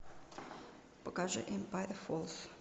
покажи эмпайр фоллс